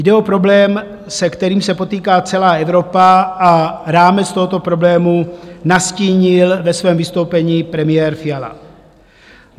Jde o problém, se kterým se potýká celá Evropa, a rámec tohoto problému nastínil ve svém vystoupení premiér Fiala.